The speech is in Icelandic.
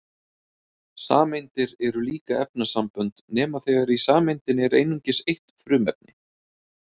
Sameindir eru líka efnasambönd nema þegar í sameindinni er einungis eitt frumefni.